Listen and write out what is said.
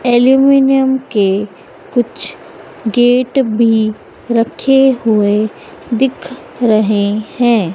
Aluminium के कुछ gate भी रखे हुए दिख रहे हैं।